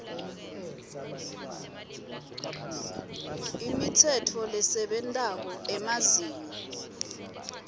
imitsetfo lesebentako emazinga